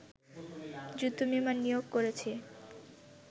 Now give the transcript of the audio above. যুদ্ধ বিমান নিয়োগ করেছি